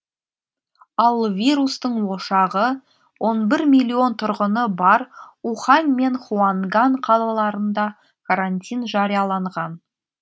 ал вирустың ошағы он бір миллион тұрғыны бар ухань мен хуанган қалаларында карантин жарияланған